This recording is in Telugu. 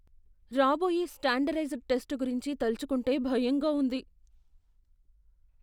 రాబోయే స్టాండర్డైజ్డ్ టెస్ట్ గురించి తలచుకుంటే భయంగా ఉంది.